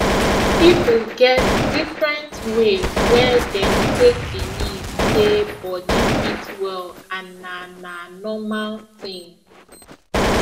people get different way wey dem take believe say body fit well and na na normal thing